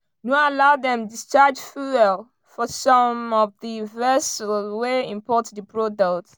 no allow dem discharge fuel for some of di vessels wey import di product.